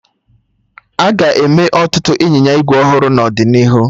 Aga eme ọtụtụ ịnyịnya ígwè ọhụrụ n'ọdịnihu